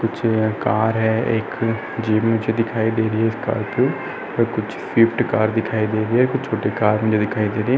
कुछ कार हैं। एक जीप मुझे दिखाई दे रही है स्कॉर्पियो तो कुछ स्विफ्ट कार दिखाई दे रही हैं। कुछ छोटी कार मुझे दिखाई दे रही हैं।